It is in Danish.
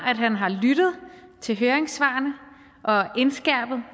at han har lyttet til høringssvarene og indskærpet